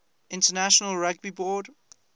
international rugby board